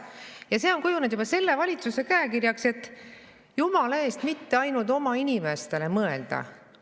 Ja see on juba kujunenud selle valitsuse käekirjaks, et jumala eest mitte ainult oma inimestele mõelda.